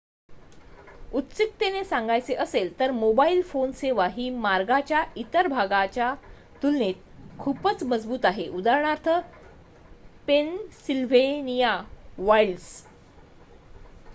उत्सुकतेने सांगायचे असेल तर मोबाईल फोन सेवा ही मार्गाच्या इतर भागाच्या तुलनेत खूपच मजबूत आहे उदाहरणार्थ पेनसिल्व्हेनिया वाइल्ड्स